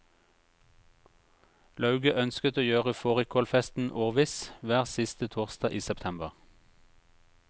Lauget ønsket å gjøre fårikålfesten årviss, hver siste torsdag i september.